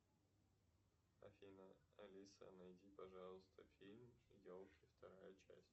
афина алиса найди пожалуйста фильм елки вторая часть